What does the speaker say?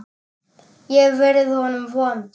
Ég hef verið honum vond.